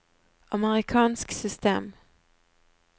amerikansk system